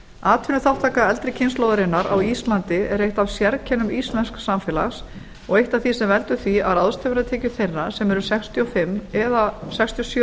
atvinnuþátttaka eldri kynslóðarinnar á íslandi er eitt af sérkennum íslensks samfélags og eitt af því sem veldur því að ráðstöfunartekjur þeirra sem eru sextíu og fimm eða sextíu